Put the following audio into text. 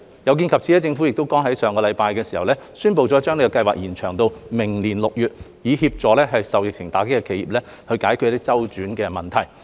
有見及此，政府剛於上星期宣布將申請期延長至明年6月，以協助受疫情打擊的企業解決資金周轉問題。